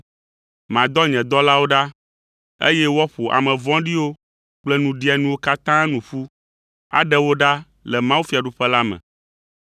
Madɔ nye dɔlawo ɖa, eye woaƒo ame vɔ̃ɖiwo kple nuɖianuwo katã nu ƒu, aɖe wo ɖa le mawufiaɖuƒe la me;